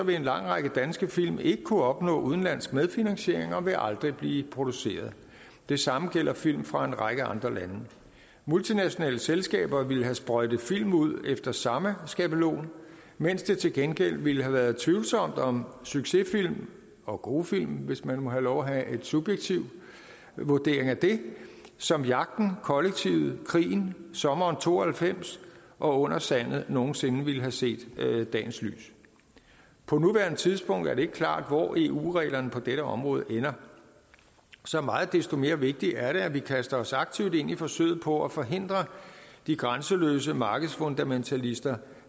vil en lang række danske film ikke kunne opnå udenlandsk medfinansiering og vil aldrig blive produceret det samme gælder film fra en række andre lande multinationale selskaber ville have sprøjtet film ud efter samme skabelon mens det til gengæld ville have været tvivlsomt om succesfilm og gode film hvis man må have lov at have en subjektiv vurdering af det som jagten kollektivet krigen sommeren 92 og under sandet nogen sinde ville have set dagens lys på nuværende tidspunkt er det ikke klart hvor eu reglerne på dette område ender så meget desto mere vigtigt er det at vi kaster os aktivt ind i forsøget på at forhindre de grænseløse markedsfundamentalister